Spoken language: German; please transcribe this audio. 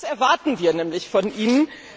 Das erwarten wir nämlich von Ihnen.